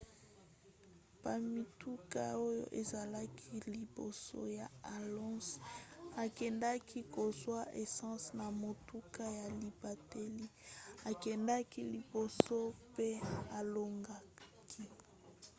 po mituka oyo ezalaki liboso ya alonso ekendaki kozwa essence na motuka ya libateli akendaki liboso pe alongaki